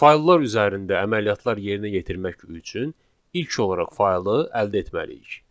Fayllar üzərində əməliyyatlar yerinə yetirmək üçün ilk olaraq faylı əldə etməliyik.